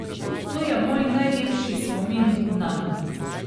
To je moj najlepši spomin nanj.